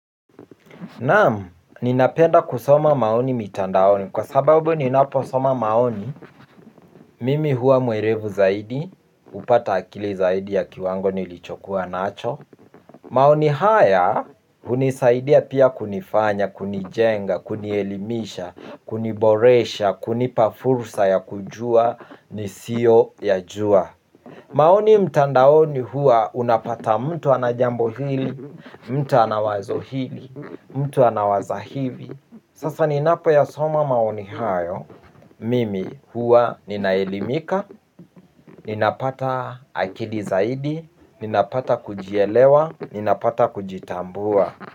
Naam, ninapenda kusoma maoni mitandaoni kwa sababu ninaposoma maoni mimi huwa mwerevu zaidi, hupata akili zaidi ya kiwango nilichokuwa nacho maoni haya, hunisaidia pia kunifanya, kunijenga, kunielimisha, kuniboresha, kunipa fursa ya kujua nisio yajua maoni mtandaoni huwa unapata mtu ana jambo hili, mtu ana wazo hili, mtu anawaza hivi sasa ninapoyasoma maoni hayo mimi huwa ninaelimika, ninapata akili zaidi, ninapata kujielewa, ninapata kujitambua.